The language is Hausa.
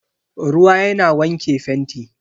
Ruwa yana wanke fenti.